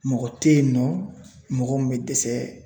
Mɔgɔ te yen nɔ mɔgɔ min be dɛsɛ